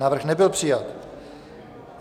Návrh nebyl přijat.